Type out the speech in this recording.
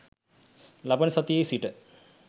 ලබන සතියේ සිට